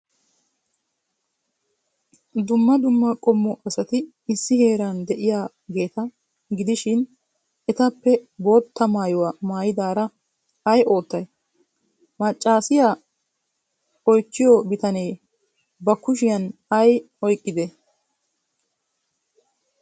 Dumma dumma qommo asati issi heeran de'iyaageeta gidishin, etappe boottaa maayuwa maayidaara ay oottay? Maccaasiya oychchiyo bitanee ba kushiyan ay oyqqidee?